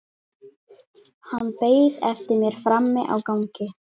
Hann beið eftir mér frammi á gangi.